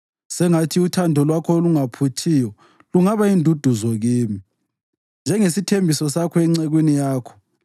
Sengathi uthando lwakho olungaphuthiyo lungaba yinduduzo kimi, njengesithembiso sakho encekwini yakho.